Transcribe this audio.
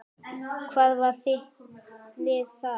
Hvað var þitt lið þar?